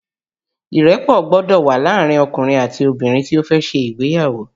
Ìrẹ́pọ̀ gbọ́dọ̀ wà láàrin ọkùnrin àti obìnrin tí ó fẹ́ ṣe ìgbéyàwó